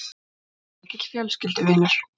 Hann var mikill vinur fjölskyldunnar.